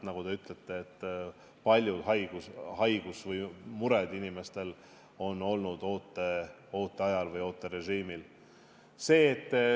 Nagu te ütlesite, paljud haigused või mured on inimestel olnud ooterežiimil.